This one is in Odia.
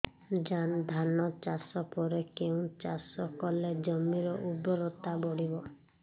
ଧାନ ଚାଷ ପରେ କେଉଁ ଚାଷ କଲେ ଜମିର ଉର୍ବରତା ବଢିବ